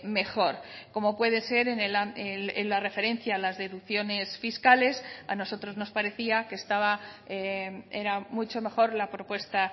mejor como puede ser en la referencia a las deducciones fiscales a nosotros nos parecía que estaba era mucho mejor la propuesta